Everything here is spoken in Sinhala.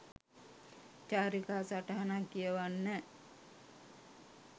චාරිකා සටහනක් කියවන්න